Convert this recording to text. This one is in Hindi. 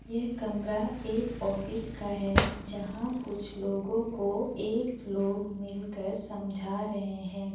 यह कमरा एक ऑफिस का है जहाँ कुछ लोगों को एक लोग मिल कर समझा रहें हैं।